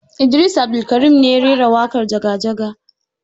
Idris Abdulkarim ne ya rera waƙar jaga jaga